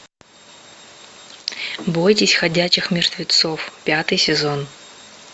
бойтесь ходячих мертвецов пятый сезон